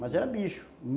Mas era bicho.